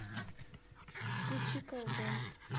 включи калбой